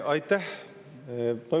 Aitäh!